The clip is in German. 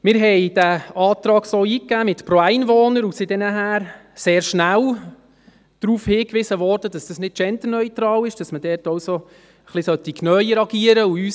Wir gaben den Antrag mit «pro Einwohner» ein und wurden sehr schnell darauf hingewiesen, dass dies nicht genderneutral ist, dass man dort etwas genauer agieren sollte.